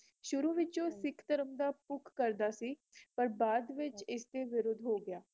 ਸ਼ੁਰੂ ਵਿੱਚੋ ਸਿੱਖ ਧਰਮ ਦਾ ਪੱਖ ਕਰਦਾ ਸੀ ਪਰ ਬਾਦ ਵਿਚ ਇਸ ਦੇ ਵਿਰੁੱਧ ਹੋਗਿਆ